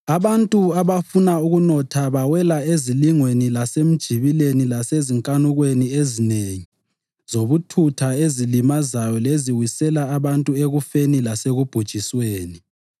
Abantu abafuna ukunotha bawela ezilingweni lasemijibileni lasezinkanukweni ezinengi zobuthutha ezilimazayo leziwisela abantu ekufeni lasekubhujisweni.